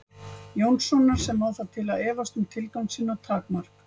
Jónssonar sem á það til að efast um tilgang sinn og takmark.